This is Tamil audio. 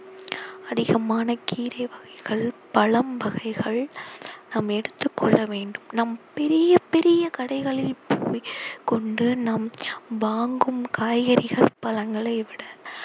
அதிகமான கீரை வகைகள் பழம் வகைகள் நாம் எடுத்துக் கொள்ள வேண்டும் நம் பெரிய பெரிய கடைகளில் போய் கொண்டு நாம் வாங்கும் காய்கறிகள் பழங்களை விட